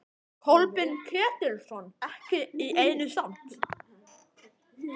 Kolbeinn Ketilsson: Ekki í einu samt?